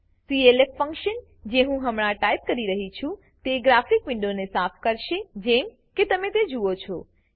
clf function જે હું હમણાં ટાઈપ કરી રહ્યી છું તે ગ્રાફિક વિન્ડોને સાફ કરશે જેમ કે તમે જુઓ છો